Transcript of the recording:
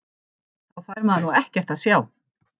Þá fær maður nú ekkert að sjá!!